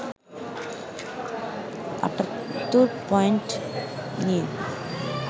৭৮ point নিয়ে